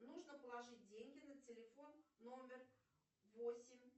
нужно положить деньги на телефон номер восемь